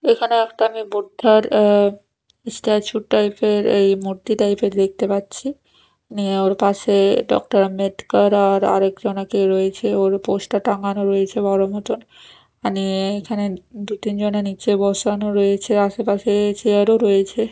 এখানে একটা আমি বুদ্ধার আঃ স্ট্যাচু টাইপ -এর এই মূর্তি টাইপ -এর দেখতে পাচ্ছি নিয়ে ওর পাশে ডক্টর আম্বেদকর আর আরেকজনা কেউ রয়েছে ওর উপর পোস্টার টাঙানো রয়েছে বড়ো মতন মানে এইখানে দু-তিনজনে নীচে বসানো রয়েছে আশেপাশে চেয়ার -ও রয়েছে।